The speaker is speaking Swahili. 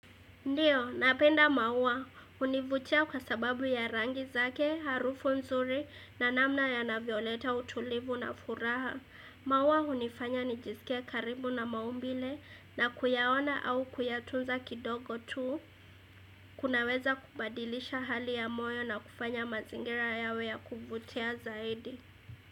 Ndiyo, napenda maua. Hunivutia kwa sababu ya rangi zake, harufu mzuri na namna ya navyoleta utulivu na furaha. Maua hunifanya nijisikia karibu na maumbile na kuyaona au kuyatunza kidogo tu, kunaweza kubadilisha hali ya moyo na kufanya mazingira yawe ya kuvutia zaidi.